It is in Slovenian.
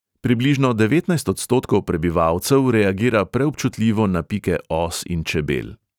Približno devetnajst odstotkov prebivalcev reagira preobčutljivo na pike os in čebel.